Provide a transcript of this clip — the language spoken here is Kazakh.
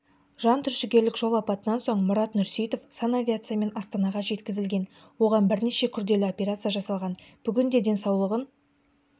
жантүршігерлік жол апатынан соң мұрат нұрсейітов санавиациямен астанаға жеткізілген оған бірнеше күрделі операция жасалған бүгінде денсаулығын